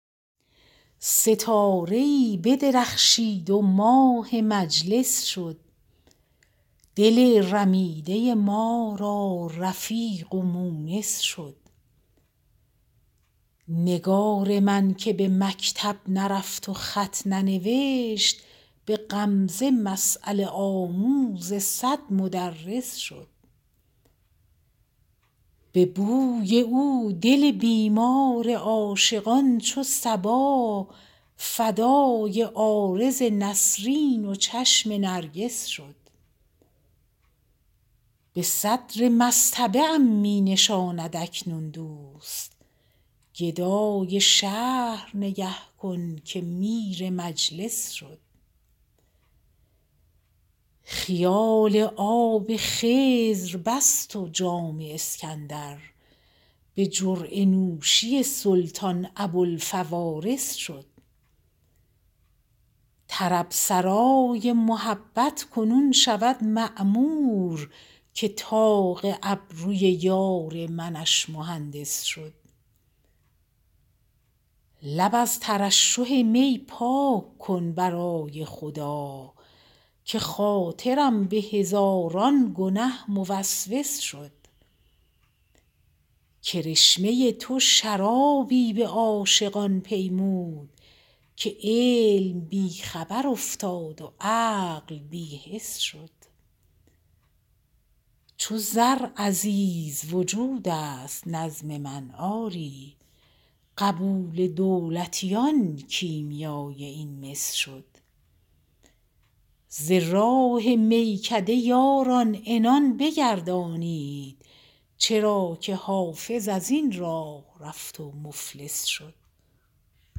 ستاره ای بدرخشید و ماه مجلس شد دل رمیده ما را رفیق و مونس شد نگار من که به مکتب نرفت و خط ننوشت به غمزه مسأله آموز صد مدرس شد به بوی او دل بیمار عاشقان چو صبا فدای عارض نسرین و چشم نرگس شد به صدر مصطبه ام می نشاند اکنون دوست گدای شهر نگه کن که میر مجلس شد خیال آب خضر بست و جام اسکندر به جرعه نوشی سلطان ابوالفوارس شد طرب سرای محبت کنون شود معمور که طاق ابروی یار منش مهندس شد لب از ترشح می پاک کن برای خدا که خاطرم به هزاران گنه موسوس شد کرشمه تو شرابی به عاشقان پیمود که علم بی خبر افتاد و عقل بی حس شد چو زر عزیز وجود است نظم من آری قبول دولتیان کیمیای این مس شد ز راه میکده یاران عنان بگردانید چرا که حافظ از این راه رفت و مفلس شد